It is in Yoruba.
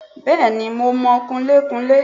Bẹ́ẹ̀ni mo mọ kunlékunlé